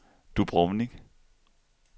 Dubrovnik